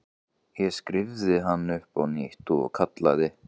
Ég skírði hann upp á nýtt og kallaði